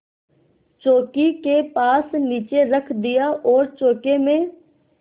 चौकी के पास नीचे रख दिया और चौके में